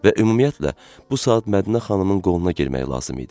Və ümumiyyətlə bu saat Mədinə xanımın qoluna girmək lazım idi.